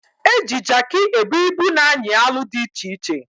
Eji Jaakị ebu ibu na anyị alụ dị iche iche